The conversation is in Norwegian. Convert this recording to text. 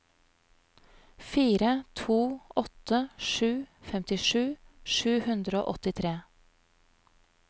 fire to åtte sju femtisju sju hundre og åttitre